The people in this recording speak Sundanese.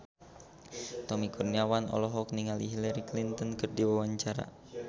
Tommy Kurniawan olohok ningali Hillary Clinton keur diwawancara